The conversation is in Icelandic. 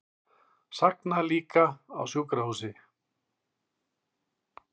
Sagna líka á sjúkrahúsi